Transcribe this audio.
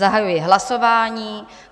Zahajuji hlasování.